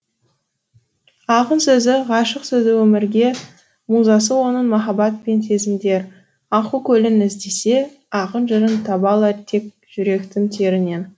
ақын сөзі ғашық сөзі өмірге музасы оның махаббат пен сезімдер аққу көлін іздесе ақын жырын таба алар тек жүректің терінен